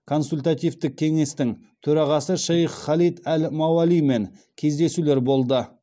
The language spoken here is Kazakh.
консультативтік кеңестің төрағасы шейх халид әл мауалимен кездесулер болды